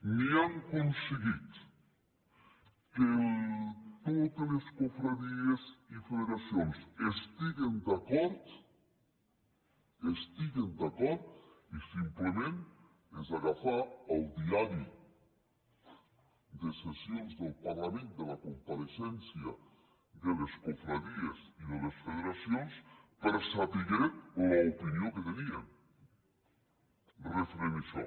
ni han aconseguit que totes les confraries i federacions estiguin d’acord estiguin d’acord i simplement és agafar el diari de sessions del parlament de la compareixença de les confraries i de les federacions per saber l’opinió que tenien referent a això